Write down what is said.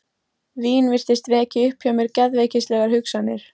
Vín virtist vekja upp hjá mér geðveikislegar hugsanir.